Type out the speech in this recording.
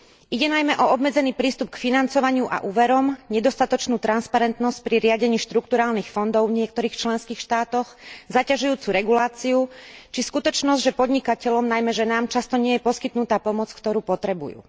Ide najmä o obmedzený prístup k financovaniu a úverom, nedostatočnú transparentnosť pri riadení štrukturálnych fondov v niektorých členských štátoch, zaťažujúcu reguláciu či skutočnosť, že podnikateľom, najmä ženám, často nie je poskytnutá pomoc, ktorú potrebujú.